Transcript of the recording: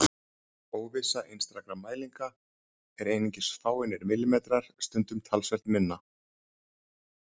Óvissa einstakra mælinga er einungis fáeinir millimetrar, stundum talsvert minni.